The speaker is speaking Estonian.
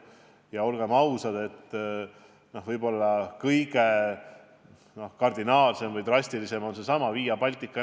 Ja olgem ausad, võib-olla kõige kardinaalsem või drastilisem on seesama Via Baltica.